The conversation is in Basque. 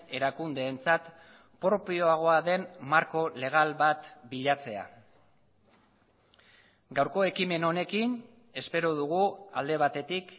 erakundeentzat propioagoa den marko legal bat bilatzea gaurko ekimen honekin espero dugu alde batetik